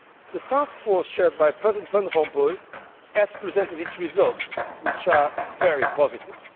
The Task Force chaired by President Van Rompuy has presented its results, which are very positive.